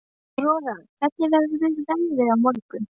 Aurora, hvernig verður veðrið á morgun?